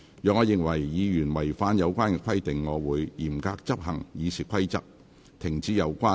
若我認為議員違反有關規定，我會嚴格執行《議事規則》，停止有關議員發言。